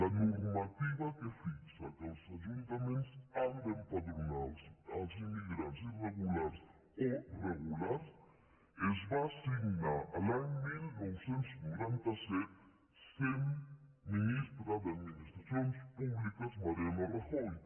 la normativa que fixa que els ajuntaments han d’em·padronar els immigrants irregulars o regulars es va signar l’any dinou noranta set essent ministre d’administracions públiques mariano rajoy